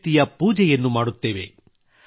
ಶಕ್ತಿಯ ಪೂಜೆಯನ್ನು ಮಾಡುತ್ತೇವೆ